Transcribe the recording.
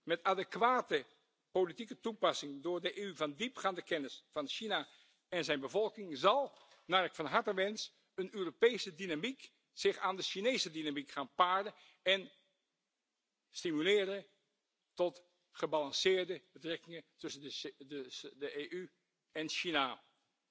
Met adequate politieke toepassing door de EU van diepgaande kennis van China en zijn bevolking zal, naar ik van harte wens, een Europese dynamiek zich aan de Chinese dynamiek gaan paren en gebalanceerde betrekkingen tussen de EU en China stimuleren.